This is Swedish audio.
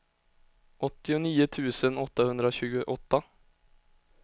åttionio tusen åttahundratjugoåtta